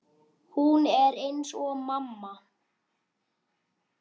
Hún er eins og mamma.